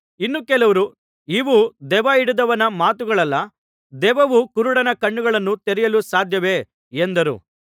ಇನ್ನು ಕೆಲವರು ಇವು ದೆವ್ವಹಿಡಿದವನ ಮಾತುಗಳಲ್ಲ ದೆವ್ವವು ಕುರುಡನ ಕಣ್ಣುಗಳನ್ನು ತೆರೆಯಲು ಸಾಧ್ಯವೇ ಎಂದರು